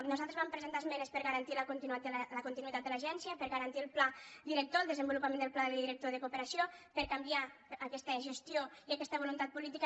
nosaltres vam presentar esmenes per a garantir la continuïtat de l’agència per a garantir el pla director el desenvolupament del pla director de cooperació per a canviar aquesta gestió i aquesta voluntat política